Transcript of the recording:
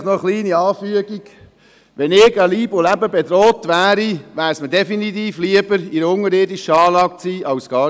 Vielleicht noch eine kleine Anfügung: Wenn ich an Leib und Leben bedroht wäre, wäre es mir definitiv lieber, in einer unterirdischen Anlage zu sein als nirgendwo.